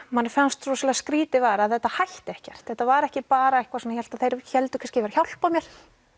manni fannst rosalega skrýtið var að þetta hætti ekkert þetta var ekki bara eitthvað svona þeir héldu kannski að hjálpa mér